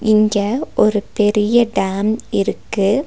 இங்க ஒரு பெரிய டேம் இருக்கு.